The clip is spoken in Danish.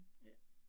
Ja